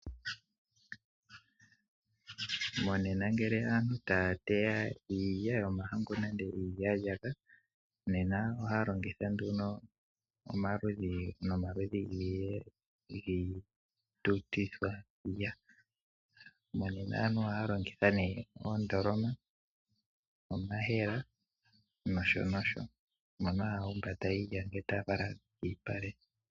Monena ngele aantu taya teya iilya yomahangu nenge iilyalyaka, nena ohaya longitha omaludhi nomaludhi giitutithwa. Monena aantu ohaya longitha oondoloma ,omayemele nosho tuu mono hamu humbatwa iilya ngele tayi falwa kolupale.